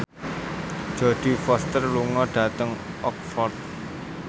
Jodie Foster lunga dhateng Oxford